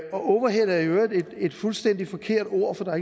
og overhead er i øvrigt et fuldstændig forkert ord for der